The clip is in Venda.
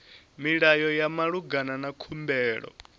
milayo ya malugana na khumbelo